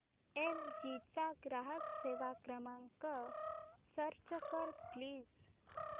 L G चा ग्राहक सेवा क्रमांक सर्च कर प्लीज